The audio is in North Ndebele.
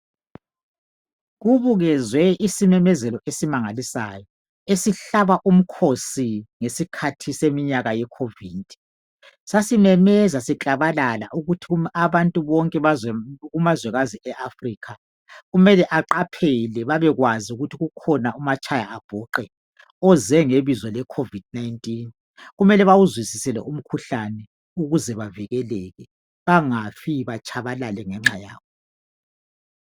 Kubukezwe isimemezelo esimangalisayo. Esihlaba umkhosi ngesikhathi seminyaka yeCovid. Sasimemeza siklabalala! IUkuthi abantu bonke kumazwekazi eAfrika., kumele aqaphele, babekwazi ukuthi kukhona umatshaya abhuqe. Oze ngebizo kecovid 19. Kumele bawuzwisise lumkhuhlane, ukuze bavikeleke. Bangafi, batshabalale, ngenxa yawo.